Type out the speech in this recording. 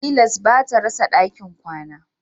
Tilas ba ta rasa dakin kwana